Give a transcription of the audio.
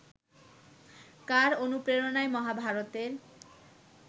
কার অনুপ্রেরণায় মহাভারতের